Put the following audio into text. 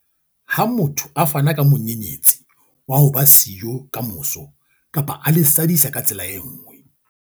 Ha motho a fana ka monyenyetsi wa ho ba siyo kamoso kapa a le sadisa ka tsela e nngwe.